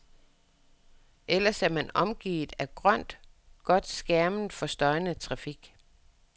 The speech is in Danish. Ellers er man omgivet af grønt, godt skærmet for støjende trafik.